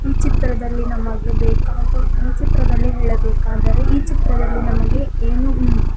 ಈ ಚಿತ್ರದಲ್ಲಿ ನಮಗೆ ಬೇಕಾದ ಈ ಚಿತ್ರದಲ್ಲಿ ಹೇಳಬೇಕಾದರೆ ಈ ಚಿತ್ರದಲ್ಲಿ ನಮಗೆ ಏನು --